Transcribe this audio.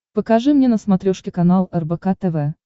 покажи мне на смотрешке канал рбк тв